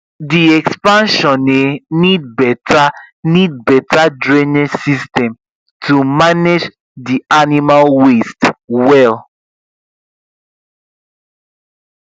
the expansion um need better need better drainage system to manage the animal waste well